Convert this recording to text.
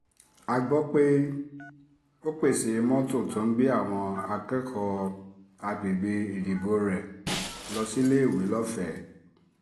a gbọ́ pé ó pèsè mọ́tò tó ń gbé àwọn akẹ́kọ̀ọ́ àgbègbè ìdìbò rẹ̀ lọ síléèwé lọ́fẹ̀ẹ́